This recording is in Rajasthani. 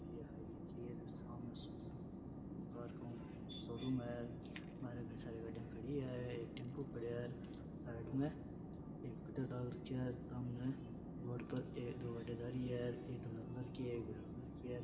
शोरूम है सारी गाड़िया खड़ी है एक टेम्पू खड़ी है साइड में और दो औरते जा रही है --